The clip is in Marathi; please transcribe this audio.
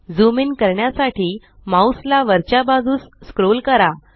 ज़ूम इन करण्यासाठी माउस ला वरच्या बाजूस स्क्रोल करा